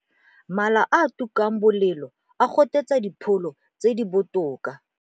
Mala a a tukang bolelo a gotetsa dipholo tse di botoka.